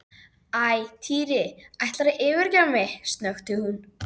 Einhver hafði tekið af hjónarúminu og bætt í óhreina tauið.